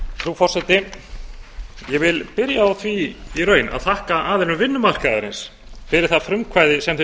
frú forseti ég vil byrja á því í raun að þakka aðilum vinnumarkaðarins fyrir það frumkvæði sem þeir